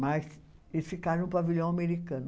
Mas eles ficaram no pavilhão americano.